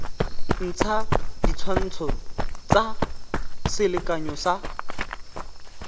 ntsha ditshwantsho tsa selekanyo sa